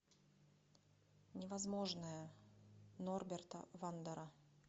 невозможное норберта вандера